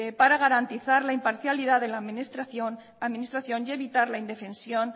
para garantizar la imparcialidad de la administración y evitar la indefensión